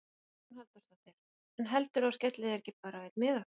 Hugrún Halldórsdóttir: En heldurðu að þú skellir þér ekki bara á einn miða?